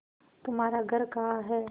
तुम्हारा घर कहाँ है